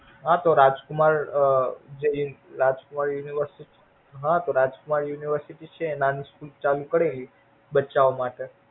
હા તો રાજફૂઈમાર અમ જે રાજકુમાર હા રો રાજકુમાર University છે એની School ચાલુ કરે બચ્ચાઓ માટે